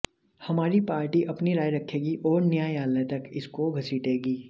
हमारी पार्टी अपनी राय रखेगी और न्यायलय तक इसको घसीटेगी